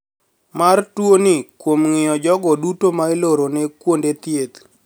Mar tuoni kuom ng`iyo jogo duto ma ilorone kuonde thieth